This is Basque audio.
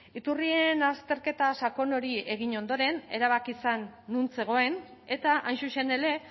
iturrien azterketa sakon hori egin ondoren erabaki zen non zegoen eta hain zuzen ere